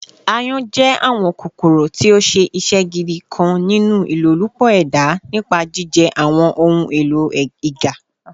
Àyon jẹ awọn kokoro ti o ṣe iṣẹ gidi kan ninu ilolupo eda nipa jijẹ awọn ohun elo iga